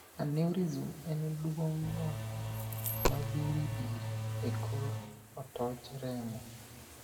Aneurysm' en duong'o mabiribiri e kor hotoch remo.